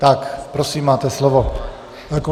Tak prosím, máte slovo.